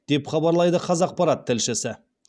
деп хабарлайды қазақпарат тілшісі